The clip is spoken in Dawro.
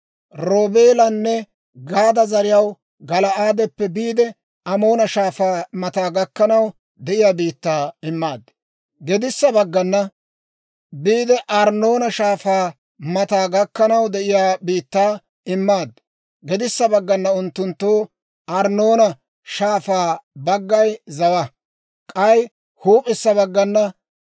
Roobeelanne Gaada zariyaw Gala'aadeppe biide Arnnoona Shaafaa mataa gakkanaw de'iyaa biittaa immaad. Gedissa baggana unttunttoo Arnnoona Shaafaw baggay zawaa; k'ay huup'issa baggana Amoonatuwaa biittaa gas'aa gidiyaa Yaabook'a Shaafay zawaa.